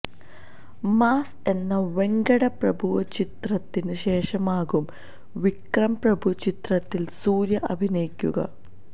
mass എന്ന വെങ്കട് പ്രഭു ചിത്രത്തിന് ശേഷമാകും വിക്രം പ്രഭു ചിത്രത്തില് സൂര്യ അഭിനയിക്കുക